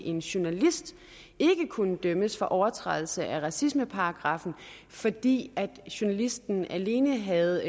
en journalist ikke kunne dømmes for overtrædelse af racismeparagraffen fordi journalisten alene havde